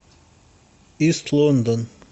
ист лондон